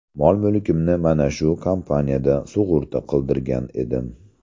Mol-mulkimni mana shu kompaniyada sug‘urta qildirgan edim.